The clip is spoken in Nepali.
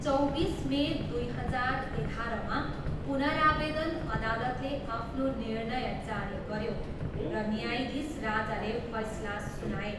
चौबिस मे दुई हजार एघाह्रमा, पुनरावेदन अदालतले आफ्नो निर्णय जारी गऱ्यो र न्यायाधीश राजाले फैसला सुनाए।